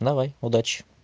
давай удачи